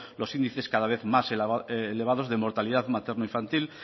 los índices cada vez más elevados de mortalidad materno infantil